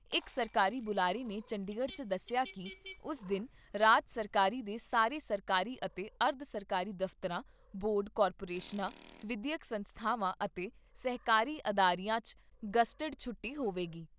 ਇਕ ਸਰਕਾਰੀ ਬੁਲਾਰੇ ਨੇ ਚੰਡੀਗੜ੍ਹ 'ਚ ਦੱਸਿਆ ਕਿ ਉਸ ਦਿਨ ਰਾਜ ਸਰਕਾਰ ਦੇ ਸਾਰੇ ਸਰਕਾਰੀ ਅਤੇ ਅਰਧ ਸਰਕਾਰੀ ਦਫਤਰਾਂ, ਬੋਰਡ ਜਾਂ ਕਾਰਪੋਰੇਸ਼ਨਾਂ, ਵਿਦਿਅਕ ਸੰਸਥਾਵਾਂ ਅਤੇ ਸਹਿਕਾਰੀ ਅਦਾਰਿਆਂ 'ਚ ਗਜ਼ਟਿਡ ਛੁੱਟੀ ਹੋਵੇਗੀ।